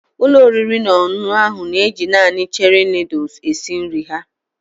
Ụlọ oriri na ọṅụṅụ ahụ na-eji naanị Cherie noodles esi nri ha.